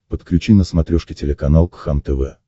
подключи на смотрешке телеканал кхлм тв